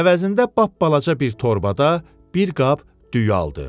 əvəzində balaca bir torbada bir qab düyü aldı.